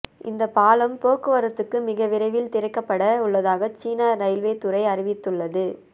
இந்த பாலம் போக்குவரத்துக்கு மிக விரைவில் திறக்கப்பட உள்ளதாக சீன ரயில்வே துறை அறிவித்துள்ளது